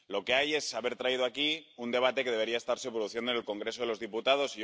Lo que hay es que se ha traído aquí un debate que debería estarse produciendo en el Congreso de los Diputados.